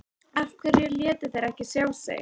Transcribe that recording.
Af hverju létu þeir ekki sjá sig?